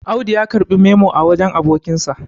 Audu ya karɓI memo a wajen abokinsa